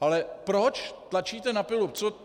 Ale proč tlačíte na pilu?